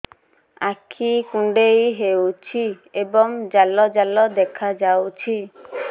ଆଖି କୁଣ୍ଡେଇ ହେଉଛି ଏବଂ ଜାଲ ଜାଲ ଦେଖାଯାଉଛି